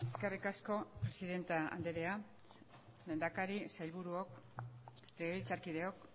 eskerrik asko presidente andrea lehendakari sailburuok legebiltzarkideok